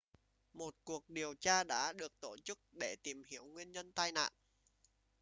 một cuộc điều tra đã được tổ chức để tìm hiểu nguyên nhân tai nạn